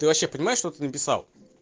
ты вообще понимаешь что ты написал